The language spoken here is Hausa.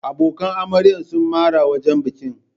Abokan amarya sun makara wajen bikin.